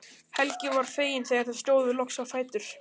Helgi var feginn þegar þau stóðu loks á fætur.